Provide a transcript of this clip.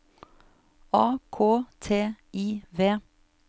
A K T I V